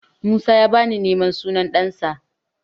Musa ya bani naman sunan ɗansa.